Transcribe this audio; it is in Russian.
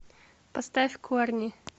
поставь корни